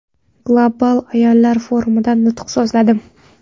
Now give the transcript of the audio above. Global ayollar forumida nutq so‘zladim.